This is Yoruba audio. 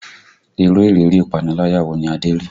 Irú ìrírí ìpaniláyà wo ni Adé rí?